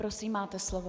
Prosím, máte slovo.